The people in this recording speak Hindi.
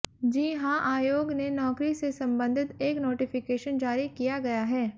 जी हां आयोग ने नौकरी से संबंधित एक नोटिफिकेशन जारी किया गया है